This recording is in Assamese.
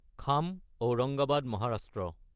খাম আওৰাংগাবাদ মহাৰাষ্ট্ৰ